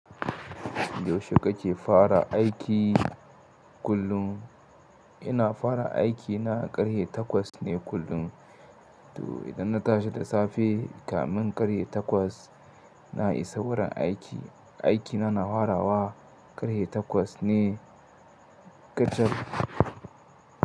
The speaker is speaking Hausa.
Yaushe kake fara aiki kullum? Ina fara aiki na ƙarhe takwas ne kullum. To idan na tashi da safe, kamin ƙarhe takwas na isa wurin aiki. Aiki na, na hwarawa ƙarhe takwas ne kacal.